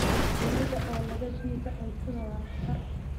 Shinnida oo laga diido cuntada waa khatar.